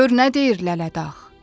Gör nə deyir Lələdağ.